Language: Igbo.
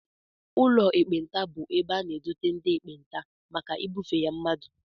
Ụlọ ekpenta bụ ebe a na-edote ndị ekpenta maka ibufe ya mmadụ